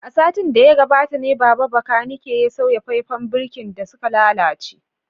A satin da ya gabata ne Baba bakanike ya sauya faifan birkin da suka lalace